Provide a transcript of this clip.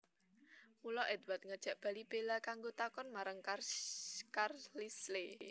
Mula Édward ngajak bali Bella kanggo takon marang Carlisle